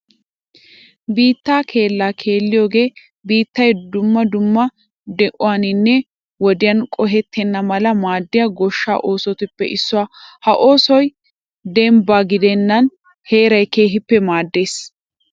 Biitta keella keelliyooge biittay dumma dumma di'uwaninne woddan qohettenna mala maadiya goshsha oosotuppe issuwa. Ha oosoy dembba gidenna heeray keehippe maades.